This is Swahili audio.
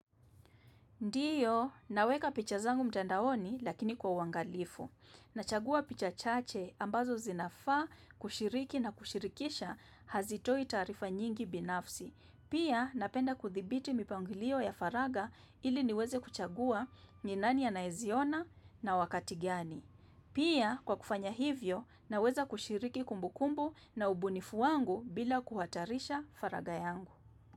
Ndiyo, naweka picha zangu mtandaoni lakini kwa uangalifu. Nachagua picha chache ambazo zinafaa kushiriki na kushirikisha hazitoi taarifa nyingi binafsi. Pia, napenda kudhibiti mipangilio ya faraga ili niweze kuchagua ni nani anayeziona na wakati gani. Pia, kwa kufanya hivyo, naweza kushiriki kumbukumbu na ubunifu wangu bila kuhatarisha faraga yangu.